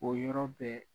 O yɔrɔ bɛɛ